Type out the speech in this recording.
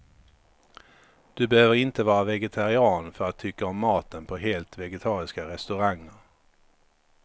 Du behöver inte vara vegetarian för att tycka om maten på helt vegetariska restauranger.